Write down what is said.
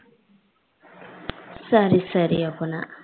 சரி சரி அப்பனா